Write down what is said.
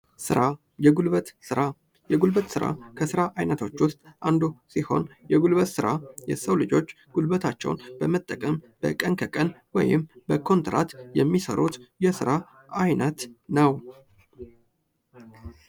ስራ የጉልበት ስራ የጉልበት ስራ ከስራ አይነቶች ዉስጥ አንዱ ስሆን ፤ የጉልበት ስራ የሰው ልጆች ጉልበታቸውን በመጠቀም በቀን ከቀን ወይም በኮንትራት የምሰሩት የስራ አይነት ነው።